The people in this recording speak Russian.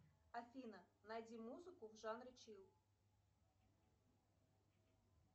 афина найди музыку в жанре чил